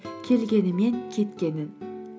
келгені мен кеткенін